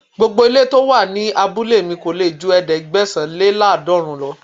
Gbogbo ilé to wà ní abúlé mi kò lè ju ẹ̀ẹ́dẹ́gbẹ̀sán-lé-láàdọọ́ọ̀rún lọ.